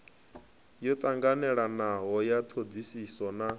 yo tanganelanaho ya thodisiso na